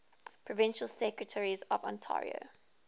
provincial secretaries of ontario